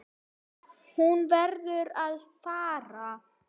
Hún verður að fara.